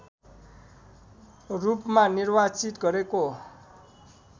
रूपमा निर्वाचित गरेको